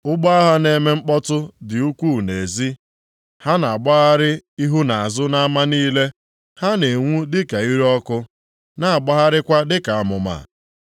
Ụgbọ agha na-eme mkpọtụ dị ukwuu nʼezi, ha na-agbagharị ihu na azụ nʼama niile. Ha na-enwu dịka ire ọkụ, na-agbagharịkwa dịka amụma.